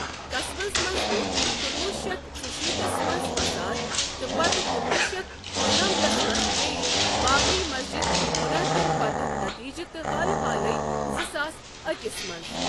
قصبس منٛز ووٚتھ کُنوُہ شیتھ ژُشیت تھس منز فصاد تہٕ پتھٕ کُنوُہ شیتھ دُنممتھس منز بیٚیہِ بابری مسجِد مُنحدِم پتک نتیجہِ تہٕ حال حالیہزٕ ساس أکس منٛز ۔